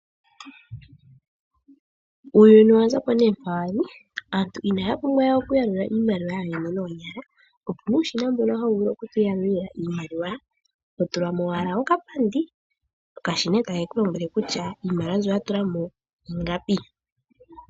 Uuyuni owa zapo nee mpawali aantu inaapumbwa wee okuyalula iimaliwa noonyala opuna uushina mbono hawu vulu oku tu yalulila iimaliwa totulamo owala okapandi, okashina eetakeku lombwele kutya iimaliwa mbyo watu lamo ingapi.